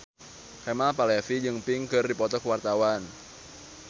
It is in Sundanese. Kemal Palevi jeung Pink keur dipoto ku wartawan